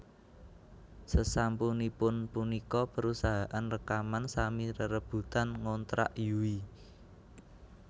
Sesampunipun punika perusahaan rekaman sami rerebutan ngontrak Yui